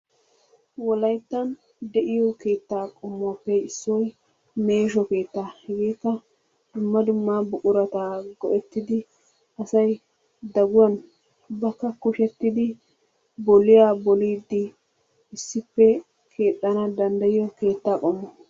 Wolayttan de'iyo keettaa qommuwappe issoy meesho keettaa, hegeekka dumma dumma buqurata go'etidi asay daguwan ubbakka kushettidi bolliya boliidi issippe keexana danddayiyo keettaa qommo.